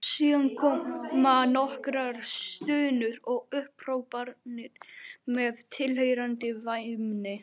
Síðan komu nokkrar stunur og upphrópanir með tilheyrandi væmni.